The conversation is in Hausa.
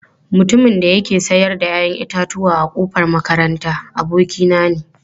Mutumin da yake sayar da 'ya'yan itatuwa a kofar makaranta, abokina ne.